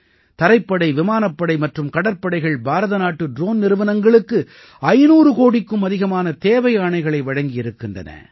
தரைப்படை விமானப்படை மற்றும் கடற்படைகள் பாரத நாட்டு ட்ரோன் நிறுவனங்களுக்கு 500 கோடிக்கும் அதிகமான தேவை ஆணைகளை வழங்கியிருக்கின்றன